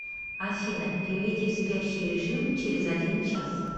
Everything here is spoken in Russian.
афина перейди в спящий режим через один час